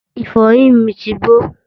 ìfọyín mi ti gbó